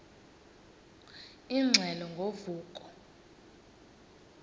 ingxelo ngo vuko